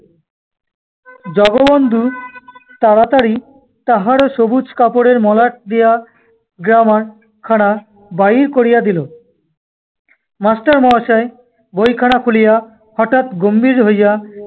জগবন্ধু তাড়াতাড়ি তাহারও সবুজ কাপড়ের মলাট দেয়া grammar খানা বাহির করিয়া দিল। master মহাশয় ব‍ইখানা খুলিয়া‍, হঠাত্‍ গম্ভীর হ‍ইয়া